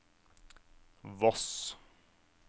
Voss